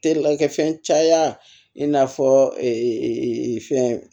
Telikɛfɛn caya in n'a fɔ fɛn